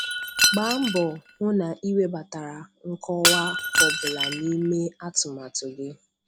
Gbaa mbọ hụ na ị webatara nkọwa ọ bụla n'ime atụmatụ gị.